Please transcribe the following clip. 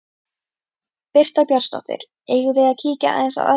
Birta Björnsdóttir: Eigum við að kíkja aðeins á aðstæður?